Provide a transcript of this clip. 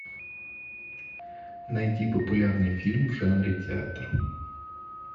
найди популярный фильм в жанре театр